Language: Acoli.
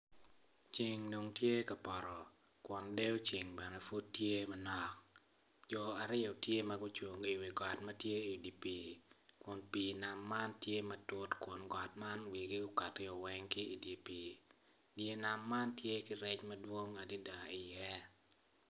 Ceng tye ka poto kun dero ceng tye ma nok jo aryo tye gucung i ot ma tye i pii kun pii nam man tye ma tut kun kot tye ka cwer kun ot man wigiweng okati woko ki i pii